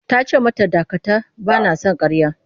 Ta ce mata dakata! Ba na son ƙarya.